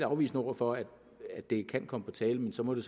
afvisende over for at det kan komme på tale men så må det